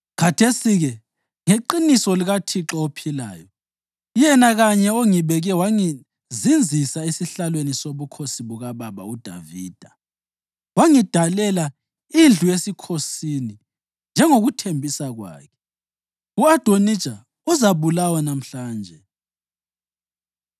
Khathesi-ke, ngeqiniso likaThixo ophilayo, yena kanye ongibeke wangizinzisa esihlalweni sobukhosi bukababa uDavida wangidalela indlu yesikhosini njengokuthembisa kwakhe, u-Adonija uzabulawa lamhlanje!”